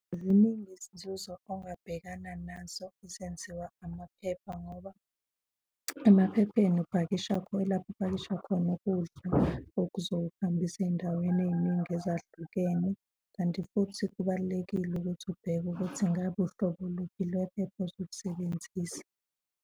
Ziningi izinzuzo ongabhekana nazo ezenziwa amaphepha ngoba emaphepheni upakisha ilapho upakisha khona ukudla okuzohambisa ey'ndaweni ey'ningi ezahlukene. Kanti futhi kubalulekile ukuthi ubheke ukuthi ngabe uhlobo oluphi lwephepha ozolusebenzisa.